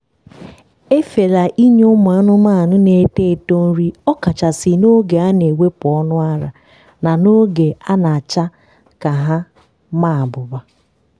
efela inye ụmụ anụmanụ na-eto eto nri ọkachasị n'oge a na-ewepụ ọnụ ara na oge a na-acha ka ha ma abụba.